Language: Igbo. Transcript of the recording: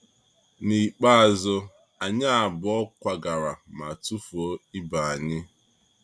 N’ikpeazụ, anyị abụọ kwagara ma tufuo ibe anyị.